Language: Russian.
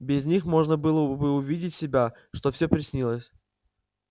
без них можно было бы увидеть себя что всё приснилось